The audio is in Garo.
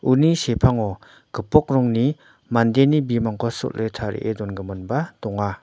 uni sepango gipok rongni mandeni bimangko sol·e tarie dongiminba donga.